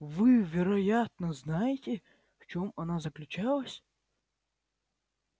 вы вероятно знаете в чем она заключалась